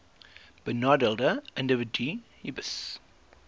benadeelde individue hbis